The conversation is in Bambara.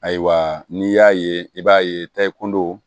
Ayiwa n'i y'a ye i b'a ye ta i kundodow